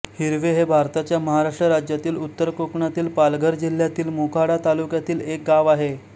हिरवे हे भारताच्या महाराष्ट्र राज्यातील उत्तर कोकणातील पालघर जिल्ह्यातील मोखाडा तालुक्यातील एक गाव आहे